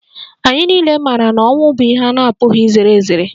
Anyị niile maara na ọnwụ bụ ihe a na-apụghị izere ezere